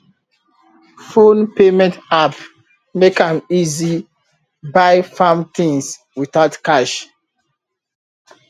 phone payment app make am easy buy farm things without cash